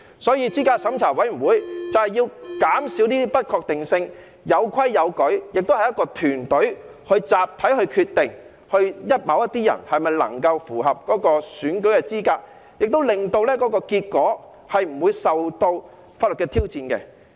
所以，資審會就是要減少這些不確定性，有規有矩，並會由一個團隊集體決定某些人是否能夠符合選舉資格，亦令結果不會受到法律的挑戰。